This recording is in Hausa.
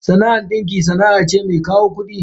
Sana'ar dinki sana'a ce mai kawo kudi.